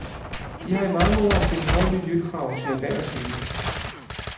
De har i mange år stillet høje miljøkrav til erhvervslivet.